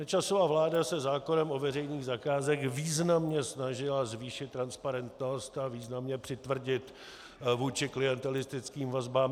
Nečasova vláda se zákonem o veřejných zakázkách významně snažila zvýšit transparentnost a významně přitvrdit vůči klientelistickým vazbám.